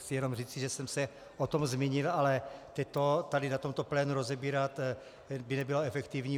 Chci jenom říci, že jsem se o tom zmínil, ale teď to tady na tomto plénu rozebírat by nebylo efektivní.